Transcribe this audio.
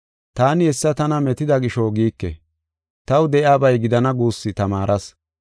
Taani hessa tana metida gisho giike; taw de7iyabay gidana guussu tamaaras.